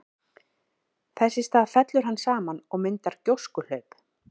Þess í stað fellur hann saman og myndar gjóskuhlaup.